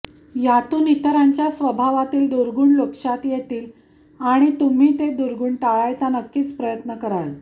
यातून इतरांच्या स्वभावातील दुर्गुण लक्षात येतील आणि तुम्ही हे दुर्गुण टाळायचा नक्कीच प्रयत्न कराल